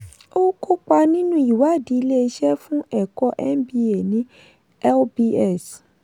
ó kópa nínú ìwádìí ilé-iṣẹ́ fún ẹ̀kọ́ mba ní lbs.